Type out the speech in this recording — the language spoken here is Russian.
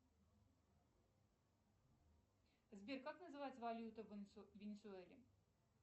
сбер как называется валюта в венесуэле